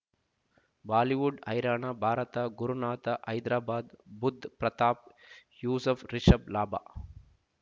Bollywood ಹೈರಾಣ ಭಾರತ ಗುರುನಾಥ ಹೈದರಾಬಾದ್ ಬುಧ್ ಪ್ರತಾಪ್ ಯೂಸುಫ್ ರಿಷಬ್ ಲಾಭ